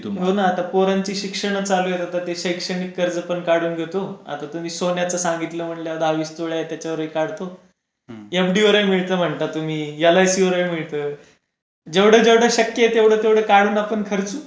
हो ना आता पोरांची शिक्षण हि चालू आहे तर शैक्षणिक कर्ज पण काढून घेतो आता तुम्ही सोन्याचा सांगितलं म्हणल्यावर दहा-वीस तोळ्या आहे त्याच्यावरही काढतो एफडीवरहि मिळतात म्हणे तुम्ही एल इ सी वरहि मिळतं जेवढा जेवढा शक्य आहे तेवढा तेवढा काढू ना आपण खर्च.